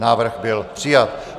Návrh byl přijat.